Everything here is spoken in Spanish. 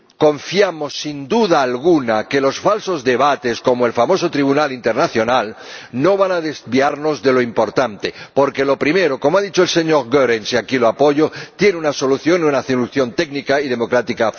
Confiamos, sin duda alguna, en que los falsos debates, como el famoso tribunal internacional, no vayan a desviarnos de lo importante, porque lo primero —como ha dicho el señor Goerens, y aquí lo apoyo— tiene una solución una solución técnica y democrática